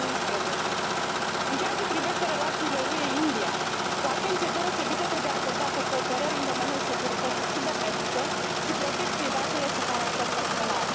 2011. În ceea ce privește relațiile UE India, o atenție deosebită trebuie acordată cooperării în domeniul securității cibernetice și protecției datelor cu caracter personal.